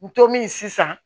N to min sisan